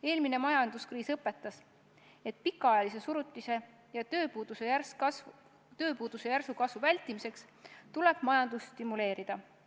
Eelmine majanduskriis õpetas, et pikaajalise surutise ja tööpuuduse järsu kasvu vältimiseks tuleb majandust stimuleerida.